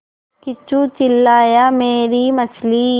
किच्चू चिल्लाया मेरी मछली